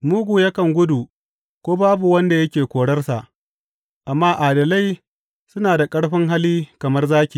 Mugu yakan gudu ko babu wanda yake korarsa, amma adalai suna da ƙarfin hali kamar zaki.